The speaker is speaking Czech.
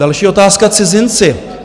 Další otázka - cizinci.